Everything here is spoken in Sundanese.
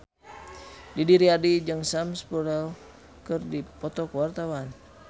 Didi Riyadi jeung Sam Spruell keur dipoto ku wartawan